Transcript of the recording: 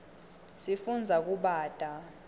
sifundza kubata